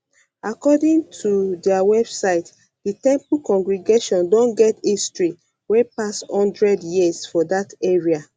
according ot dia website di temple congregation don get history wey pass one hundred years for dat area